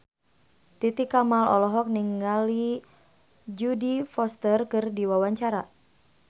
Titi Kamal olohok ningali Jodie Foster keur diwawancara